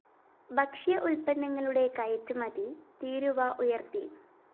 ഭക്ഷ്യ ഉല്‍പന്നങ്ങളുടെ കയറ്റുമതി തീരുവ ഉയര്‍ത്തി